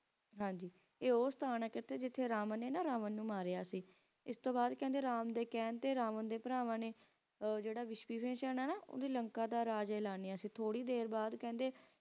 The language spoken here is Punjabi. ਤੇ ਉਹ ਅਸਥਾਨ ਹੈ ਜਿਤਨੇ ਕਹਿੰਦੇ ਰਾਮ ਨੂੰ ਨਾ ਰਾਮ ਦੇ ਭਰਾਵਾਂ ਨੇ ਮਾਰਾ ਸੀ ਤੇ ਤੇ ਇਸ ਦੇ ਬਾਦ ਕਹਿੰਦੇ ਰਾਮ ਦੇ ਕਹਿਣ ਚ ਰਾਵਾਂ ਦੇ ਭਰਾਵਾਂ ਨੇ ਉਹ ਹੈ ਐਲਾਯਾ ਸੀ ਥੋੜੀ ਦੇਰ ਬਾਦ ਜੇ